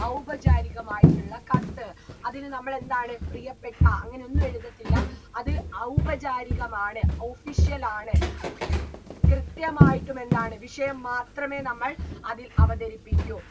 ഔപചാരികമായിട്ടുള്ള കത്ത് അതില് നമ്മളെന്താണ് പ്രിയപ്പെട്ട അങ്ങനെയൊന്നും എഴുതത്തില്ല അത് ഔപചാരികമാണ് official ആണ് കൃത്യമായിട്ടുമെന്താണ് വിഷയം മാത്രമേ നമ്മൾ അതിൽ അവതരിപ്പിക്കൂ